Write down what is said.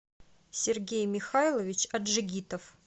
сергей михайлович аджигитов